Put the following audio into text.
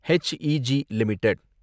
Hela E G limited